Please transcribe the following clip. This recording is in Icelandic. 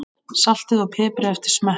Saltið og piprið eftir smekk.